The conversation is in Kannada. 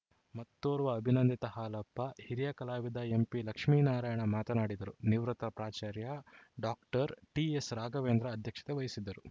ಮತ್ತೋರ್ವ ಅಭಿನಂದಿತ ಹಾಲಪ್ಪ ಹಿರಿಯ ಕಲಾವಿದ ಎಂಪಿಲಕ್ಷ್ಮೇನಾರಾಯಣ ಮಾತನಾಡಿದರು ನಿವೃತ್ತ ಪ್ರಾಚಾರ್ಯ ಡಾಕ್ಟರ್ ಟಿಎಸ್‌ರಾಘವೇಂದ್ರ ಅಧ್ಯಕ್ಷತೆ ವಹಿಸಿದ್ದರು